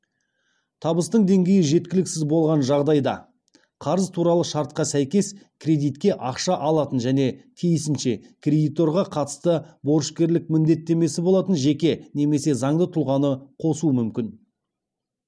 табыстың деңгейі жеткіліксіз болған жағдайда қарыз туралы шартқа сәйкес кредитке ақша алатын және тиісінше кредиторға қатысты борышкерлік міндеттемесі болатын жеке немесе заңды тұлғаны қосу мүмкін